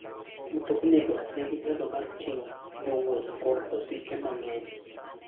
Mtoknigo nigi nyalo mar ting'o jowuoth kod osike mang'eny.